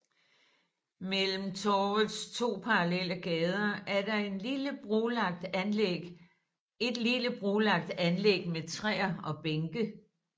Mellem torvets to parallelle gader er der et lille brolagt anlæg med træer og bænke